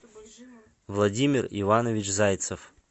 владимир иванович зайцев